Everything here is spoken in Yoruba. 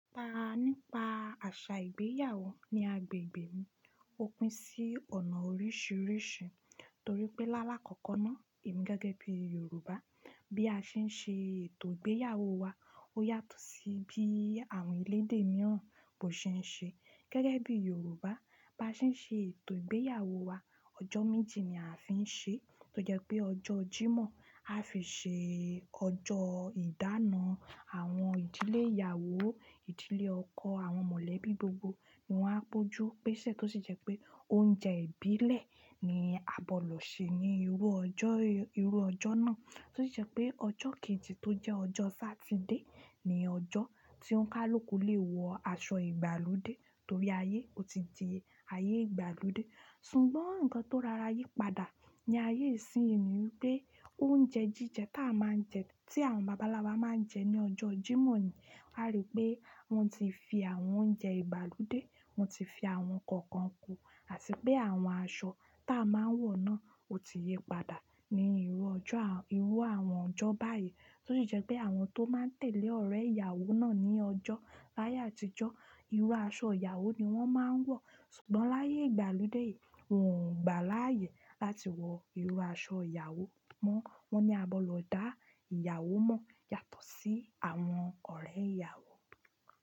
Ta nípa àṣà ìgbéyàwó ní agbègbè mi, ó pín sí ọ̀nà oríṣiríṣi torí pé lálá kọ̀ko náà èmi gẹ́gẹ́ bí Yorùbá bí a ṣe ń ṣe ètò ìgbéyàwó wa ó yàtọ̀ sí bí àwọn elédè mìíràn bọ́ ṣe ń ṣe. Gẹ́gẹ́ bí Yorùbá, bá ṣe ń ṣe ètò ìgbéyàwó wa, ọjọ́ méjì ni a fi ń ṣe, tó jẹ́ pé ọjọ́ Jímọ̀ a fi ṣe ọjọ́ ìdána àwọn ìdílé ìyàwó, ìdílé ọkọ àwọn mọ̀lẹ́bí gbogbo. Wọn á bojú pèsè tó sì jẹ́ pé oúnjẹ ìbílẹ̀ ni a gbodọ ṣe ní irú ọjọ́, irú ọjọ́ náà. Tó sì jẹ́ pé ọjọ́ kejì tó jẹ́ ọjọ́ Sátidé ni ọjọ́ tí ọ́ńikàluku lè wọ aṣọ ìgbàlódé torí ayé ó ti di ayé ìgbàlódé. Ṣùgbọ́n nǹkan tó rora yípadà ní ayé ìsín yìí ni wipé oúnjẹ jíjẹ tá a máa ń jẹ tí àwọn bàbá ńlá wa máa ń jẹ ní ọjọ́ Jímọ̀ ni, a rí pé wọ́n ti fi àwọn oúnjẹ ìgbàlódé, wọ́n ti fi àwọn kọ̀ọ̀kan kùn, àti pé àwọn aṣọ tá a máa ń wọ̀ náà ó ti yípadà ní irú ọjọ́, irú àwọn ọjọ́ báyìí. Tó sì jẹ́ pé àwọn tó máa ń tẹ̀lé ọ̀rẹ́ ìyàwó náà ní ọjọ́ láyé àtijọ́ irú aṣọ ìyàwó ni wọ́n máa ń wọ̀. Ṣùgbọ́n láyé ìgbàlódé yìí, wọ́n ò gba láyè láti wọ irú aṣọ ìyàwó mọ́. Won ni a gbodo da iyawọ mo yàtọ̀ si àwọn ọ̀rẹ́ ìyàwó.